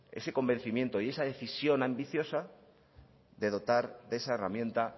ese convencimiento y esa decisión ambiciosa de dotar de esa herramienta